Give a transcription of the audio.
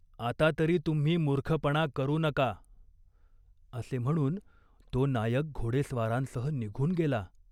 आता तरी तुम्ही मूर्खपणा करू नका." असे म्हणून तो नायक घोडेस्वारांसह निघून गेला.